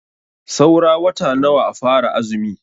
Saura wata nawa a fara azumi?